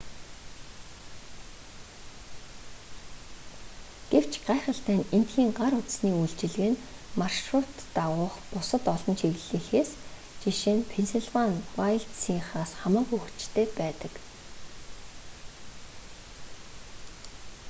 гэвч гайхалтай нь эндхийн гар утасны үйлчилгээ нь маршрут дагуух бусад олон чиглэлийнхээс ж.нь пеннсилвани вайлдсынхаас хамаагүй хүчтэй байдаг